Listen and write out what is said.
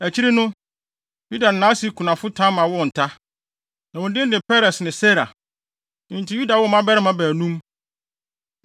Akyiri no, Yuda ne nʼase kunafo Tamar woo nta. Na wɔn din de Peres ne Serah. Enti Yuda woo mmabarima baanum.